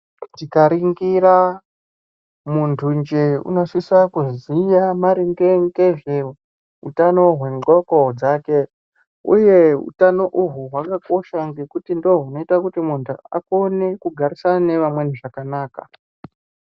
Tikaringira muntu njee unosisa kuziya maringe ngezveutano hwendxondo dzake. Uye utano uhu hwakakosha maningi ngekutu ndihwo hunoita kuti muntu akone kugarisana nevamweni zvakanaka.